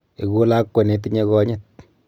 Eku lakwa netinye konyit